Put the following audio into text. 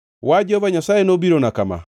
Wach Jehova Nyasaye nobirona kama: